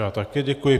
Já také děkuji.